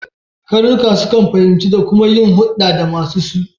Karnuka su kan fahimce da kuma yin huɗɗa da masu su.